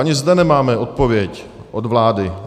Ani zde nemáme odpověď od vlády.